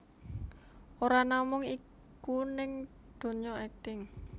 Ora namung iku ning dunya akting